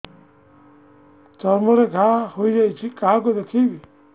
ଚର୍ମ ରେ ଘା ହୋଇଯାଇଛି କାହାକୁ ଦେଖେଇବି